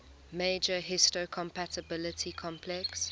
major histocompatibility complex